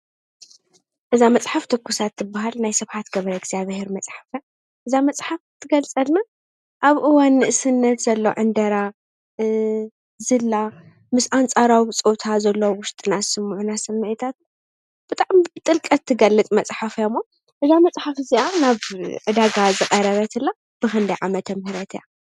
እዛ መፅሓፍ ትኩሳት ትብል ናይ ስብሓት ገ/ሄር መፅሓፍ እያ፡፡ እዛ መፅሓፍ ትገልፀና ኣብ እዋን ንእስነት ዘሎ ዕንደራ ፣ ዝላ ምስ ኣንፃራዊ ብፆታ ዘሎ ስምዒታት ብጣዕሚ ብጥልቀት እትገልፅ እያ ሞ እዛ መፅሓፍ እዚኣ ናብ ዕዳጋ ዝቐረበትላ ብክንደይ ዓ/ም እያ?